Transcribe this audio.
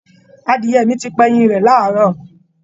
Adìẹ mi ti pa ẹyin rẹ̀ láàárọ̀